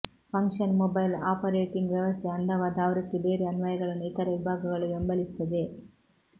function mobile operating ವ್ಯವಸ್ಥೆಯ ಅಂದವಾದ ಆವೃತ್ತಿ ಬೇರೆ ಅನ್ವಯಗಳನ್ನು ಇತರ ವಿಭಾಗಗಳು ಬೆಂಬಲಿಸುತ್ತದೆ